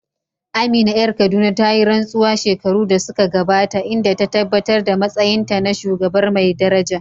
Amina ƴar Kaduna ta yi rantsuwa shekaru da suka gabata, inda ta tabbatar da matsayinta na shugabar mai daraja.